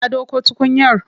Ka dauko tukunyar?